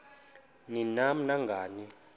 ni nam nangani